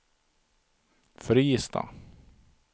Fristad